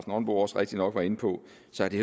nonbo også rigtigt nok var inde på